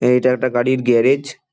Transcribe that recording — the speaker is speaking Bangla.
এইটা একটা গাড়ির গ্যারেজ ।